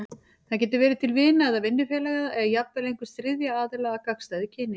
Það getur verið til vina eða vinnufélaga, eða jafnvel einhvers þriðja aðila af gagnstæðu kyni.